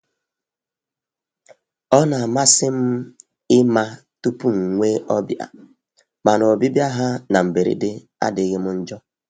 Ọ na-amasị m ịma tupu m nwee ọbịa, mana ọbịbịa ha na mberede adịghị m njọ.